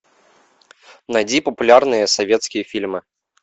найди популярные советские фильмы